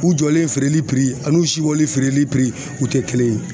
U jɔlen feereli an'u sibɔlen feereli u te kelen ye.